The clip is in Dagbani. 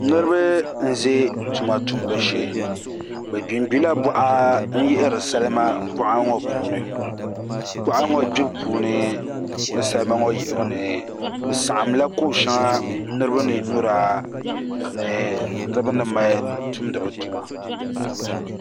Niraba n ʒi tuma tumbu shee bi gbingbila boɣa n yihiri salima boɣa ŋo puuni boɣa ŋo gbibu puuni ni salima ŋo yihibu ni bi saɣamla ko shɛŋa niraba ni nyura ni niraba ni mali tumdi bi tuma